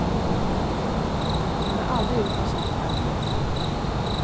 Hon har aldrig gjort något sådant här förut.